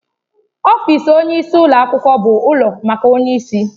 Ọfịs onyeisi ụlọ akwụkwọ bụ ụlọ maka onyeisi.